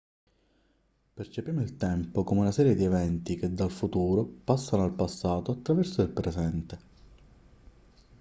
percepiamo il tempo come una serie di eventi che dal futuro passano al passato attraverso il presente